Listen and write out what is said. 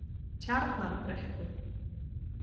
Tjarnarbrekku